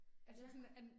Ja